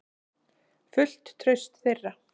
Fullt traust þeirra.